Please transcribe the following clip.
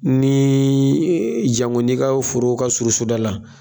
Nii e janko nin ka forow ka surun so da la